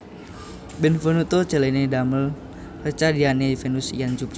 Benvenuto Cellini damel reca Diane Vénus lan Jupiter